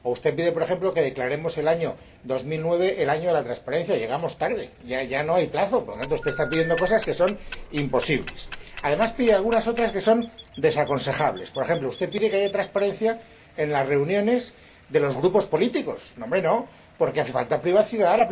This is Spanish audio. o usted pide, por ejemplo, que declaremos el año 2009 el Año de la Transparencia y llegamos tarde, ya no hay plazo. Por lo tanto, usted está pidiendo cosas que son imposibles. Además, pide algunas otras que son desaconsejables. Por ejemplo, usted pide que haya transparencia en las reuniones de los grupos políticos. No, hombre, no. Hace falta privacidad